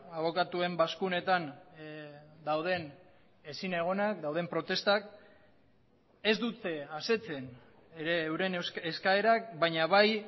abokatuen bazkunetan dauden ezinegonak dauden protestak ez dute asetzen ere euren eskaerak baina bai